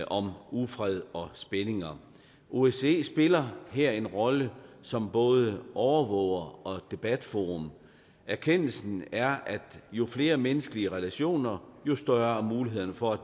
om ufred og spændinger osce spiller her en rolle som både overvåger og debatforum erkendelsen er at jo flere menneskelige relationer jo større er mulighederne for